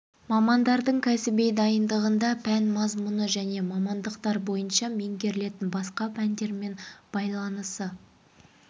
мамандардың кәсіби дайындығында пән мазмұны және мамандықтар бойынша меңгерілетін басқа пәндермен байланысы